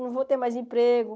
Não vou ter mais emprego.